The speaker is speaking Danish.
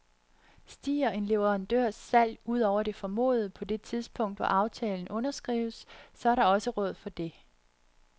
Stiger en leverandørs salg ud over det formodede på det tidspunkt, hvor aftalen underskrives, så er der også råd for det.